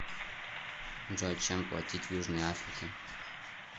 джой чем платить в южной африке